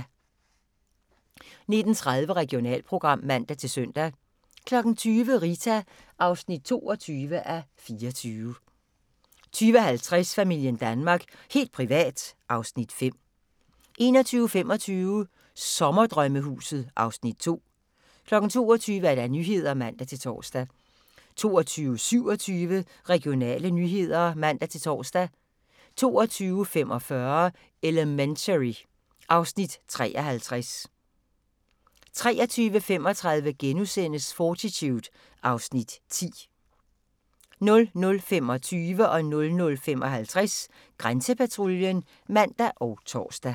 19:30: Regionalprogram (man-søn) 20:00: Rita (22:24) 20:50: Familien Danmark – helt privat (Afs. 5) 21:25: Sommerdrømmehuset (Afs. 2) 22:00: Nyhederne (man-tor) 22:27: Regionale nyheder (man-tor) 22:45: Elementary (Afs. 53) 23:35: Fortitude (Afs. 10)* 00:25: Grænsepatruljen (man og tor) 00:55: Grænsepatruljen (man og tor)